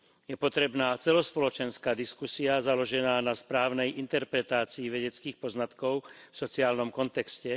Je potrebná celospoločenská diskusia založená na správnej interpretácii vedeckých poznatkov v sociálnom kontexte.